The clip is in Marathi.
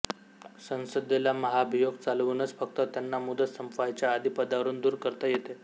संसदेला महाभियोग चालवूनच फक्त त्यांना मुदत सम्पायच्या आधी पदावरून दूर करता येते